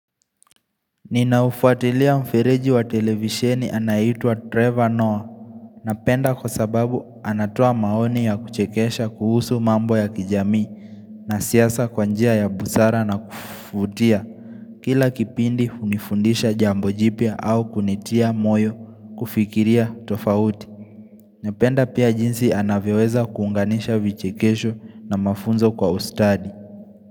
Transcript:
Ninaufuatilia mfereji wa televisheni anaitwa Trevor Noah Napenda kwa sababu anatoa maoni ya kuchekesha kuhusu mambo ya kijamii na siyasa kwanjia ya busara na kufutia Kila kipindi hunifundisha jambojipia au kunitia moyo kufikiria tofauti Napenda pia jinsi anavyoweza kuunganisha vichekesho na mafunzo kwa ustadi.